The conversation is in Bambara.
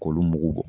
K'olu mugu bɔ